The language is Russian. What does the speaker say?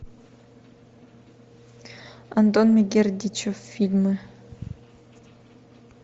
антон мегердичев фильмы